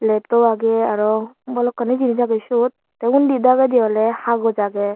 desktop age aro balokani jinish age te undi dageti ole hagoj age.